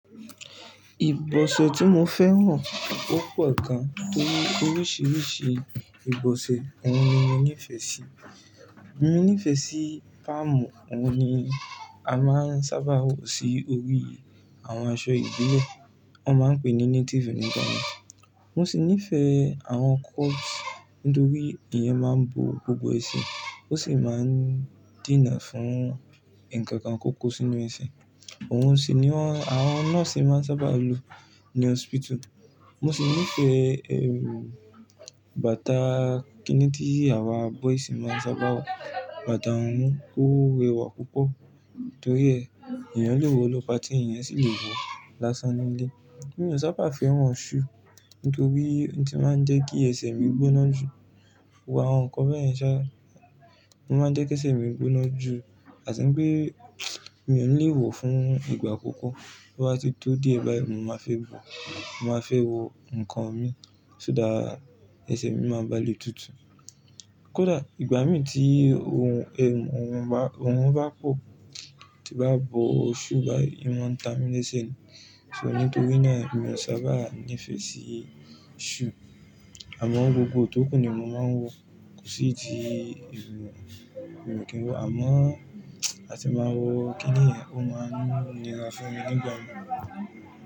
Ìbọ̀sọ́ tí mo fẹ́ràn o pọ̀ gan, torí oríṣiríṣi ìbọ̀sọ́ ọ̀ún ni mo nífẹ̀ẹ́ sí. Mo nífẹ̀ẹ́ sí palmu, ọ̀ún ni a máa ń sábà wọ̀ sí orí àwọn aṣọ ìdílé, wọ́n máa ń pè é ní Native nìkan. Mo sì nífẹ̀ẹ́ àwọn coat, nítorí ìyẹn máa ń bo gbogbo ẹsẹ̀, ó sì máa ń dènà fún nǹkan kan kó kó sínú ẹsẹ̀. Òun sì ni wọ́n, àwọn nọ́ọ̀sì máa ń sábà lo ní hospital. Mo sì nífẹ̀ẹ́, ẹmu bàtà kínítíì àwa boys máa ń sábà wọ̀. Bàtà ọ̀ún ó rẹwà púpọ̀, torí ẹ̀, ènìyàn le wọ̀ lọ party, ènìyàn sì le wọ̀ lásán nílé. Mo ò sábà fẹ́ràn shoe, nítorí ó ti máa ń jẹ́ kí ẹsẹ̀ mi gbóná jù. Wọ àwọn nǹkan bẹ́ẹ̀ yẹn ṣá, ó máa ń jẹ́ kí ẹsẹ̀ mi gbóná jù. A tì ń pé, mi ò ní le wọ̀ fún ìgbà púpọ̀. Bí wọ́n bá ti tó díẹ̀ báyìí, mo máa fẹ́ bọ̀. Mo máa fẹ́ wọ nǹkan mi, ṣùgbọ́n ẹsẹ̀ mi máa bale tutù. Kódà ìgbà mì tí ohun, ẹmu, ohun bá, orun bá pọ̀, tí bá bo shoe báyìí, ó máa ń tami lese. Ṣé nítorí náà, mi ò sábà nífẹ̀ẹ́ sí shoe. Àmọ́ gbogbo ohun tókù ni mo máa ń wọ̀. Kò sí ìdí ẹmu, mo ò kí ń wọ̀. Àmọ́ a sì máa wọ̀ kíníìyẹn, ó máa ń nirà fún mi ní ìgbà mì.